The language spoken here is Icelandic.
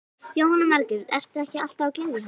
Jóhanna Margrét: Ertu ekki alltaf að gleðja hana?